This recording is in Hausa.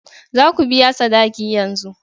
Za ku biya sadaki yanzu!